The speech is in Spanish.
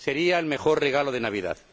Sería el mejor regalo de Navidad.